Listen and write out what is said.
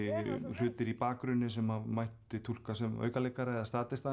hlutir í bakgrunni sem mætti túlka sem aukaleikara eða